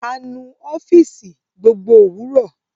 A nu ọfiisi gbogbo òwúrò